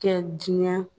Kɛ diɲɛ